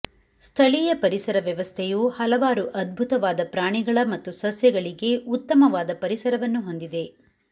ಸ್ಥಳೀಯ ಪರಿಸರ ವ್ಯವಸ್ಥೆಯು ಹಲವಾರು ಅದ್ಭುತವಾದ ಪ್ರಾಣಿಗಳ ಮತ್ತು ಸಸ್ಯಗಳಿಗೆ ಉತ್ತಮವಾದ ಪರಿಸರವನ್ನು ಹೊಂದಿದೆ